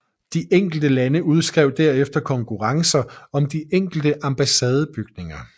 De enkelte lande udskrev derefter konkurrencer om de enkelte ambassadebygninger